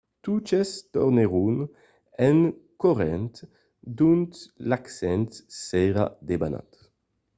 totes tornèron en corrent d'ont l'accident s'èra debanat